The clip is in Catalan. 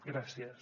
gràcies